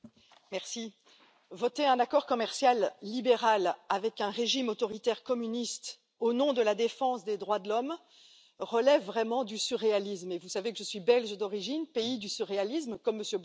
Madame la Présidente, voter un accord commercial libéral avec un régime autoritaire communiste au nom de la défense des droits de l'homme relève vraiment du surréalisme et vous savez que je suis belge d'origine, pays du surréalisme, comme M.